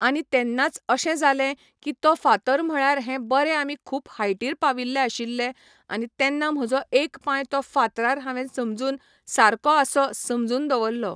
आनी तेन्नाच अशें जालें की तो फातर म्हळ्यार हें बरें आमी खूूब हायटीर पाविल्ले आशिल्ले आनी तेन्ना म्हजो एक पांय तो फातरार हांवेन समजून सारको आसो समजून दवरलो